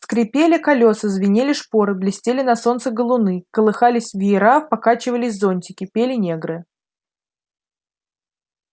скрипели колеса звенели шпоры блестели на солнце галуны колыхались веера покачивались зонтики пели негры